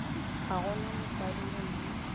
ga go na mosadi gomme